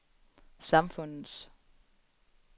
samfundets